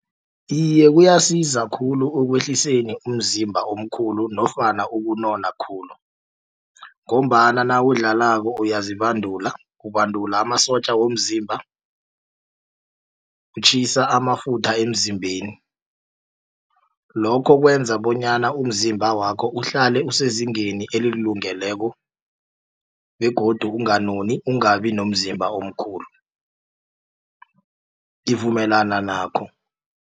Iye kuyasiza khulu ekwehliseni umzimba omkhulu nofana ukunona khulu ngombana nawudlalako uyazibandula ubandula amasotja womzimba kutjhisa amafutha emzimbeni. Lokho kwenza bonyana umzimba wakho uhlale usezingeni elilungeleko begodu unganoni ungabi nomzimba omkhulu ngivumelana nakho.